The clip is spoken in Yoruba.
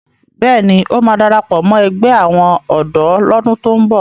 Bẹ́ẹ̀ ni, ó máa darapọ̀ mọ́ ẹgbẹ́ àwọn ọ̀dọ́ lọ́dún tó ń bọ̀.